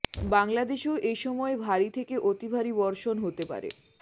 বাংলাদেশেও এ সময় ভারী থেকে অতিভারী বর্ষণ হতে পারে